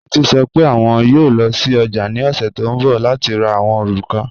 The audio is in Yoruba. Títi sọ́ pé wọn yóò lọ sí ọ̀jà ni ọ̀ṣẹ̀ tó nbọ̀ láti rá àwọn orúkà